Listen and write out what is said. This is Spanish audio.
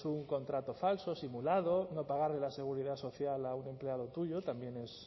pues un contrato falso simulado no pagar la seguridad social a un empleado tuyo también es